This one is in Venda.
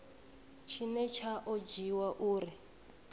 tshine tsha o dzhiiwa uri